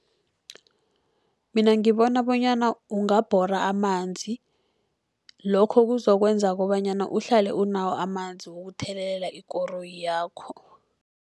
Mina ngibona bonyana ungabhora amanzi, lokho kuzokwenza kobanyana uhlale unawo amanzi wokuthelelela ikoroyi yakho.